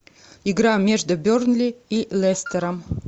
игра между бернли и лестером